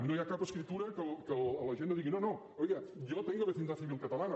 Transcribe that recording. no hi ha cap escriptura en què la gent no digui no no oiga yo tengo vecindad civil catalana